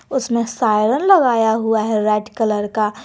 उसमें सायरन लगाया हुआ है रेड कलर का।